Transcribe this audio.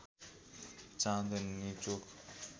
चाँदनी चोक